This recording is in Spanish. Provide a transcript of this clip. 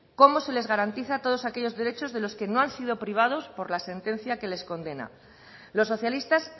cómo se les garantiza todos aquellos derechos de los que no han sido privados por la sentencia que les condena los socialistas